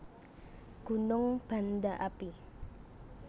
Gunung Banda Api